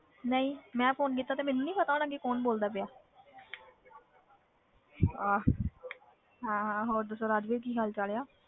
ਨਹੀਂ ਮੈਂ phone ਕੀਤਾ ਤੇ ਮੈਨੂੰ ਨੀ ਪਤਾ ਹੋਣਾ ਕਿ ਕੌਣ ਬੋਲਦਾ ਪਿਆ ਆਹ ਹਾਂ ਹਾਂ ਹੋਰ ਦੱਸੋ ਰਾਜਵੀਰ ਕੀ ਹਾਲ ਚਾਲ ਹੈ।